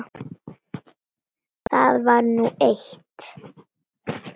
Það var nú eitt.